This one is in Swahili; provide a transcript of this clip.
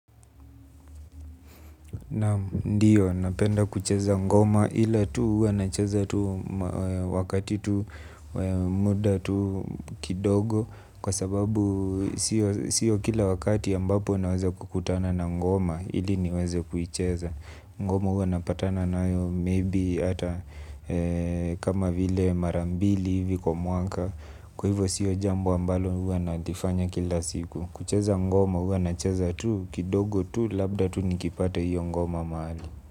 Naam ndiyo napenda kucheza ngoma ila tu huwa nacheza tu wakati tu muda tu kidogo kwa sababu sio kila wakati ambapo naweza kukutana na ngoma ili niweze kuicheza. Ngoma huwa napatana nayo maybe ata mara mbili kwa mwaka kwa hivyo sio jambo ambalo huwa nalifanya kila siku. Kucheza ngoma huwa nacheza tu kidogo tu labda tu nikipata hiyo ngoma mahali.